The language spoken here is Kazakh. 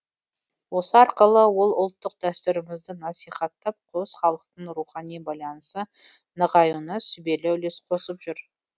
осы арқылы ол ұлттық дәстүрімізді насихаттап қос халықтың рухани байланысы нығаюына сүбелі үлес қосып жүр